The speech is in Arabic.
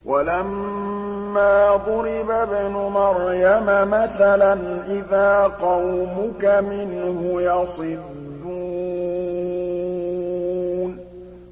۞ وَلَمَّا ضُرِبَ ابْنُ مَرْيَمَ مَثَلًا إِذَا قَوْمُكَ مِنْهُ يَصِدُّونَ